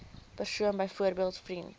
persoon byvoorbeeld vriend